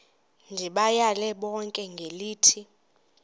ndibayale bonke ngelithi